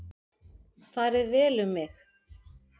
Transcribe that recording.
Farið vel um mig?